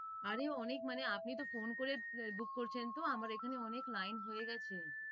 আরে অনেক মানে আপনি তো phone করে book করছেন তো আমার এখানে অনেক line হয়ে গেছে